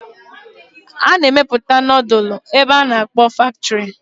A na-emepụta nudulu n'ebe ndi bekee na-akpọ factory